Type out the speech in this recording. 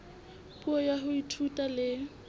puo ya ho ithuta le